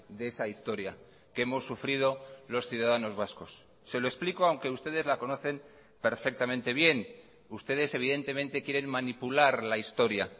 de esa historia que hemos sufrido los ciudadanos vascos se lo explico aunque ustedes la conocen perfectamente bien ustedes evidentemente quieren manipular la historia